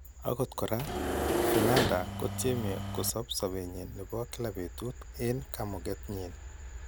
Akot koraa , Fernanda kotyeme kosoob sobeenyin nebo kila betut en kamuget nyin .